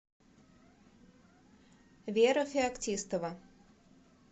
вера феоктистова